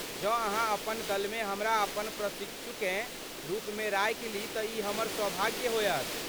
जँ अहाँ अपन दलमे हमरा अपन प्रशिक्षुकेँ रुपमे राखि ली तँ ई हमर सौभाग्य होयत।